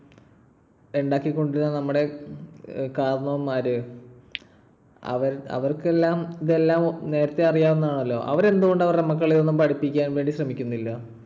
ഉണ്ടാക്കി കൊണ്ട് വരുന്ന നമ്മുടെ കാരണവർമാർ അവർ~അവർക്കെല്ലാം ഇത് നേരത്തെ അറിയാവുന്നതാണല്ലോ. അവര് എന്തുകൊണ്ട് അവരുടെ മക്കളെയൊന്നും പഠിപ്പിക്കാൻ വേണ്ടി ശ്രമിക്കുന്നില്ല?